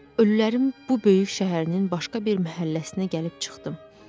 Ölülərin bu böyük şəhərinin başqa bir məhəlləsinə gəlib çıxdım.